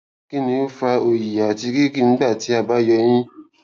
kini o fa oyi ati riri nigbati a ba yọ eyin